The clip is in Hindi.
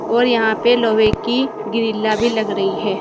और यहां पे लोहे की ग्रिल्ला भी लग रही है।